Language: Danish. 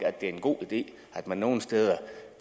at det er en god idé at man nogle steder